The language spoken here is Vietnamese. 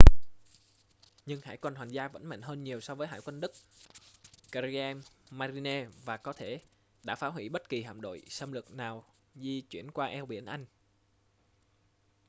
nhưng hải quân hoàng gia vẫn mạnh hơn nhiều so với hải quân đức kriegsmarine” và có thể đã phá hủy bất kỳ hạm đội xâm lược nào di chuyển qua eo biển anh